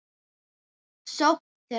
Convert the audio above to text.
sókn þeirra?